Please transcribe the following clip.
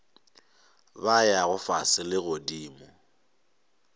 ba yago fase le godimo